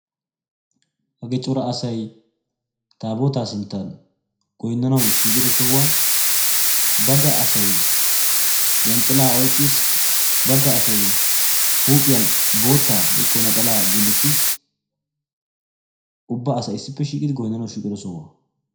hagee cora asay taabootaa sinttan goynnanawu shiiqido sohuwan bagga asay yanxxilaa oyikkis bagga asay huuphiyan boottaa woyikko naxalaa gullottis. ubba asay issippe shiiqidi goyinnanawu shiiqido sohuwa.